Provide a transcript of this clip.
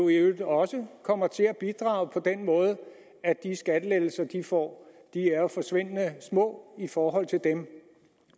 i øvrigt også kommer til at bidrage på den måde at de skattelettelser de får er forsvindende små i forhold til dem